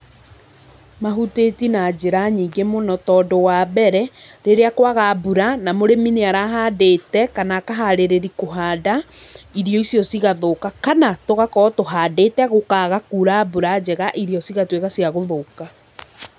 Mahutĩti na njĩra nyingĩ múno tondũ wa mbere, rĩrĩa kwaga mbura, na mũrĩmi nĩarahandĩte kana akaharĩrĩri kũhanda'irio icio cigathũka kana, tũgakorwo tũhandĩte gũkaga kura mbura njega irio cigatwĩka cia gũthũka.